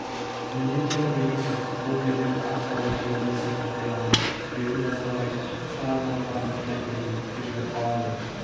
неге екені белгісіз бұл елдің ақ жаулығы көбінесе қартайғанда белін жаза алмай шала жабылған бәкідей бүктетіліп қалады